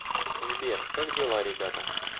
сбер как дела ребята